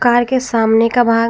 car के सामने का भाग--